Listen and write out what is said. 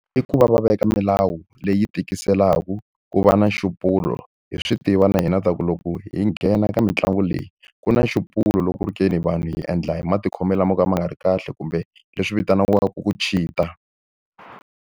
I ku va va veka milawu leyi tikiselaka, ku va na nxupulo. Hi swi tiva na hina leswaku loko hi nghena ka mitlangu leyi, ku na nxupulo loko ku ri ke ni vanhu hi endla hi matikhomelo lamo ka ma nga ri kahle kumbe leswi vitaniwaka ku cheat-a.